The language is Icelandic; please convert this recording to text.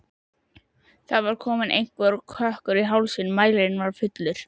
Það var kominn einhver kökkur í hálsinn, mælirinn var fullur.